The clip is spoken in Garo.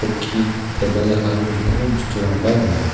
tebil aro dingtang bosturangba gnang.